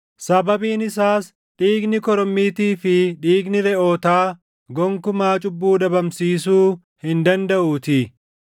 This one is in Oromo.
Sababiin isaas dhiigni korommiitii fi dhiigni reʼootaa gonkumaa cubbuu dhabamsiisuu hin dandaʼuutii.